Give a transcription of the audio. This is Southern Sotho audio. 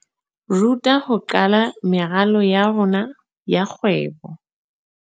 Ruta ho qala meralo ya rona ya kgwebo.